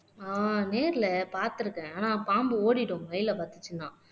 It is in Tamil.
ஆஹ் நேர்ல பாத்திருக்கேன் ஆனா பாம்பு ஓடிடும் மயிலை பாத்துச்சுன்னா